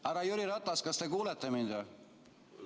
Härra Jüri Ratas, kas te kuulete mind või?